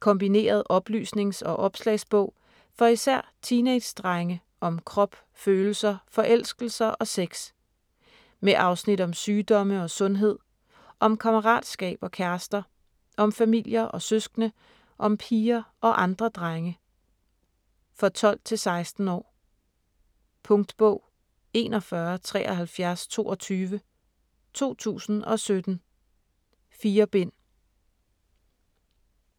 Kombineret oplysnings- og opslagsbog for især teenagedrenge om krop, følelser, forelskelser og sex. Med afsnit om sygdomme og sundhed, om kammeratskab og kærester, om familier og søskende, om piger og andre drenge. For 12-16 år. Punktbog 417322 2017. 4 bind.